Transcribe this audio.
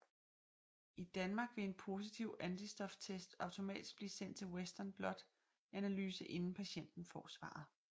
I Danmark vil en positiv antistoftest automatisk blive sendt til Western Blot analyse inden patienten får svaret